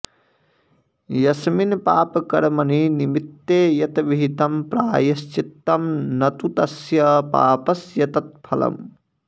यस्मिन् पापकर्मणि निमित्ते यत् विहितं प्रायश्चित्तं न तु तस्य पापस्य तत् फलम्